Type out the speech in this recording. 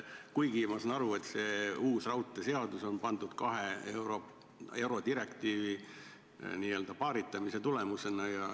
Ma saan aru, et see uus raudteeseadus on pandud paika kahe eurodirektiivi ja varasema teksti n-ö paaritamise tulemusena.